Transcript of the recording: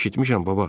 Eşitmişəm, baba.